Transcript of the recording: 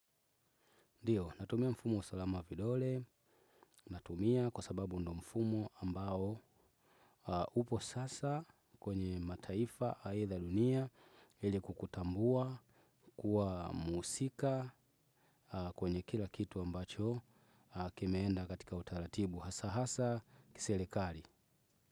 Ndiyo natumia mfumo wa usalama wa vidole. Natumia kwa sababu ndio mfumo ambao upo sasa kwenye mataifa aitha dunia ili kukutambua kuwa mhusika kwenye kila kitu ambacho kimeenda katika utaratibu. Hasa hasa kiserekali.